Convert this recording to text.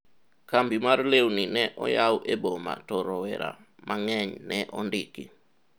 kambi mar lewni ne oyaw e boma to rowera mang'eny ne ondiki